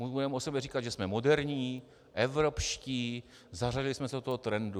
Budeme o sobě říkat, že jsme moderní, evropští, zařadili jsme se do toho trendu.